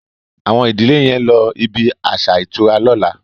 Awon ìdílè yén ló ibí aṣa ìtura lọ̀la